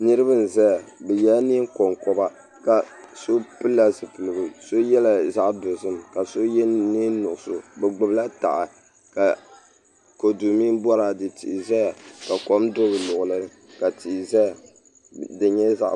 Niraba n ʒɛya bi yɛla neen konkoba so pilila zipiligu ka so yɛ zaɣ nuɣso bi gbubila taha ka kodu mini boraadɛ tihi ʒɛya ka kom do bi luɣuli ka tihi ʒɛya di nyɛla zaɣ